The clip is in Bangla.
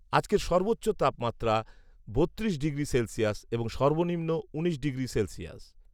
আজকের সর্বোচ্চ তাপমাত্রা বত্রিশ ডিগ্রি সেলসিয়াস এবং সর্বনিম্ন উনিশ ডিগ্রি সেলসিয়াস